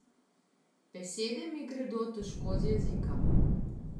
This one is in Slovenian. Besede mi gredo težko z jezika.